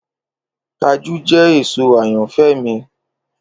Kajú jẹ èso ayanfẹ mi.